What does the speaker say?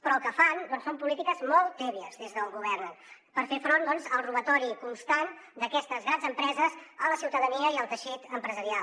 però el que fan doncs són polítiques molt tèbies des d’on governen per fer front al robatori constant d’aquestes grans empreses a la ciutadania i al teixit empresarial